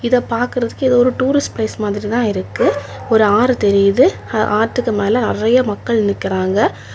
இத பாக்குறதுக்கு இது ஒரு டூரிஸ்ட் பிளேஸ் மாதிரி தான் இருக்கு ஒரு ஆறு தெரியுது ஆத்துக்கு மேல நெறைய மக்கள் நிக்கிறாங்க.